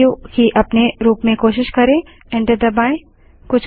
सू की अपने रूप में कोशिश करें एंटर दबायें